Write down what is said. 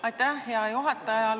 Aitäh, hea juhataja!